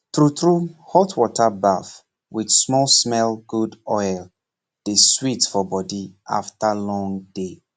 true true hot water baff with small smellgood oil dey sweet body after long day